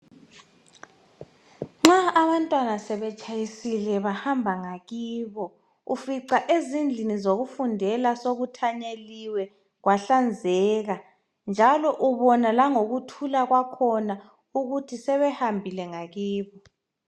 Nxa abantwana sebetshayisile bahamba ngakibo ufica ezindlini zokufundela sekuthanyeliwe kwahlanzeka njalo ubona langokuthula kwakhona ukuthi sebehambile ngakibo.